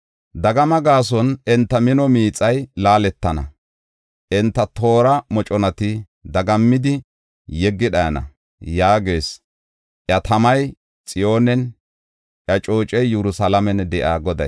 Dagama gaason enta mino miixay laaletana; enta toora moconati dagammidi yeggi dhayana” yaagees, iya tamay Xiyoonen, iya coocey Yerusalaamen de7iya Goday.